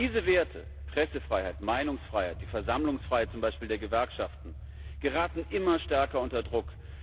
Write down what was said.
Diese Werte Pressefreiheit, Meinungsfreiheit, Versammlungsfreiheit zum Beispiel der Gewerkschaften geraten immer stärker unter Druck.